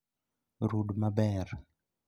Rud maber